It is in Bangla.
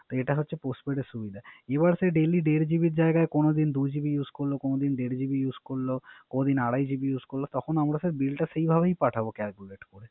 এটা হলো Postpaid এর সুবিধা। এমন আছে দেড় GB এর জাগায়, কোন দিন দুই GB use, কোন দিন দের GB use করল, কোন দিন আড়াই GB use করল। তখন আমরা স্যার বিলটা সেই ভাবেই পাঠাবো Calculate করে।